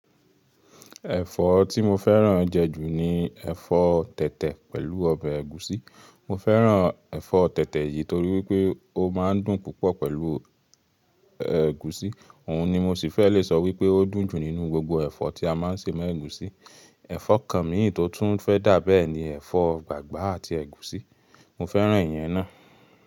Ẹ̀fọ́ tí mo fẹ́ràn jẹ ju ní ẹ̀fọ́ tẹ̀tẹ̀ pẹ̀lú ọbẹ̀ ẹ̀gúsí. Mo fẹ́ràn ẹ̀fọ́ tẹ̀tẹ̀ yìí torí wípé ó má a ń dùn púpọ̀ pẹ̀lú ẹ̀gúsí. Òhun ni mo sì fẹ́ le sọ wípé ó dùn jù nínú gbogbo ẹ̀fọ́ tí a máa ń ṣe mọ́ ẹ̀gúsí. Ẹ̀fọ́ kan mí tó tún fẹ́ dà bẹ́ẹ̀ ni ẹ̀fọ́ gbàgbá àti ẹ̀gúsí, mo fẹ́ràn ìyẹn ná.